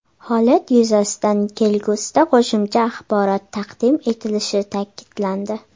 Holat yuzasidan kelgusida qo‘shimcha axborot taqdim etilishi ta’kidlandi.